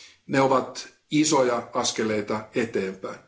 Ne ovat isoja askeleita eteenpäin.